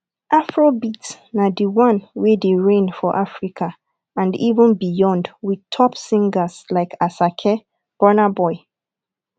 afrobeat na di one wey de reign for africa and even beyond with top singers like asake burnaboy